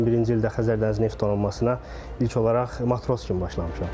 2021-ci ildə Xəzər Dəniz Neft Donanmasına ilk olaraq matros kimi başlamışam.